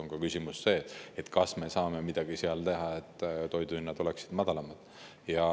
On ka küsimus, kas me saame midagi teha, et toidu hinnad oleksid madalamad.